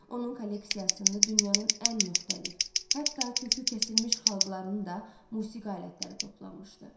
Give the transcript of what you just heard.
Onun kolleksiyasında dünyanın ən müxtəlif, hətta kökü kəsilmiş xalqlarının da musiqi alətləri toplanmışdı.